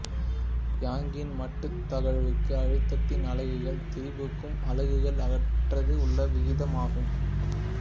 யங்கின் மட்டு தகைவுக்கும் அழுத்தத்தின் அலகுகள் திரிபுக்கும் அலகுகள் அற்றது உள்ள விகிதம் ஆகும்